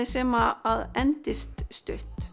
sem endast stutt